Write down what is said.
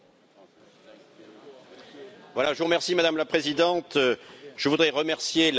Madame la Présidente, je voudrais remercier la large majorité de collègues qui a voté ce rapport.